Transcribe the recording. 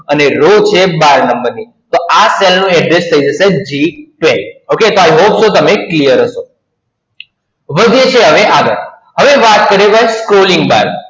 અને Raw છે બાર નંબર ની તો આ Cell નું Address થઈ જશે G બાર. Okay તો I hope so તમે Clear હશો. વધીએ છીએ હવે આગળ, હવે વાત કરીએ Scrolling Bar